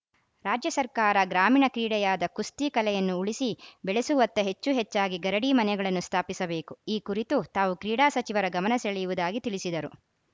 ರಾಜ್ಯ ಸರ್ಕಾರ ಗ್ರಾಮೀಣ ಕ್ರೀಡೆಯಾದ ಕುಸ್ತಿ ಕಲೆಯನ್ನು ಉಳಿಸಿ ಬೆಳೆಸುವತ್ತ ಹೆಚ್ಚು ಹೆಚ್ಚಾಗಿ ಗರಡಿ ಮನೆಗಳನ್ನು ಸ್ಥಾಪಿಸಬೇಕು ಈ ಕುರಿತು ತಾವು ಕ್ರೀಡಾ ಸಚಿವರ ಗಮನ ಸೆಳೆಯುವುದಾಗಿ ತಿಳಿಸಿದರು